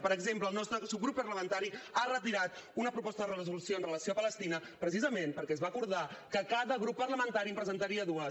per exemple el nostre subgrup parlamentari ha retirat una proposta de resolució amb relació a palestina precisament perquè es va acordar que cada grup parlamentari en presentaria dues